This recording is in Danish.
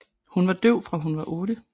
Hun var døv fra hun var otte